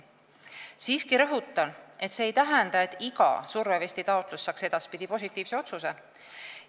Siiski rõhutan, et see ei tähenda, nagu iga survevestitaotlus saaks edaspidi positiivse otsuse.